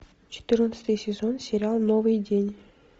четырнадцатый сезон сериал новый день